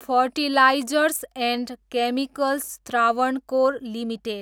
fertilizers and chemicals Travancore limited